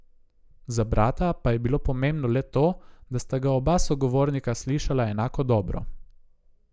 Za brata pa je bilo pomembno le to, da sta ga oba sogovornika slišala enako dobro.